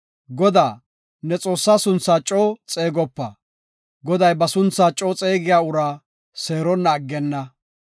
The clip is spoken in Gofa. “Godaa, ne Xoossaa sunthaa coo xeegopa. Goday ba sunthaa coo xeegiya uraa seeronna aggenna.